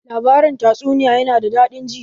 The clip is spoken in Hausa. Labarin tatsuniya ya na da daɗin ji